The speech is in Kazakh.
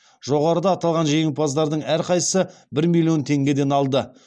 жоғарыда аталған жеңімпаздардың әрқайсысы бір миллион теңгеден алды